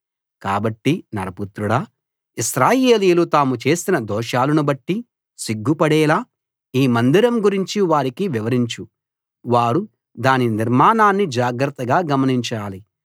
కాబట్టి నరపుత్రుడా ఇశ్రాయేలీయులు తాము చేసిన దోషాలను బట్టి సిగ్గుపడేలా ఈ మందిరం గురించి వారికి వివరించు వారు దాని నిర్మాణాన్ని జాగ్రత్తగా గమనించాలి